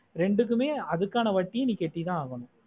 ரெண்டுக்குமே அதுக்கான வட்டியே நீ கெட்டித்த ஆகணும்